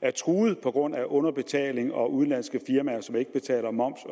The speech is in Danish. er truet på grund af underbetaling og udenlandske firmaer som ikke betaler moms